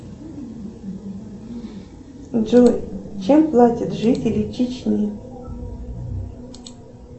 джой чем платят жители чечни